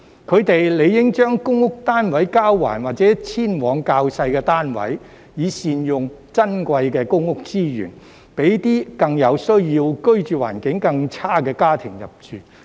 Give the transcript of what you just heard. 他們理應將公屋單位交還或遷往較小的單位，以善用珍貴的公屋資源，讓更有需要、居住環境更差的家庭入住。